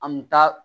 An mi taa